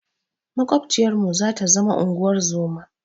Maƙwabciyarmu zata zama unguwar zoma.